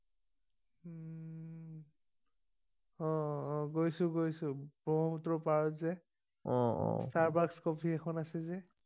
অ অ গৈছো গৈছো ব্ৰক্ষপূত্ৰ পাৰত যে অ অ ষ্টাৰবাক্স কফি এখন আছে যে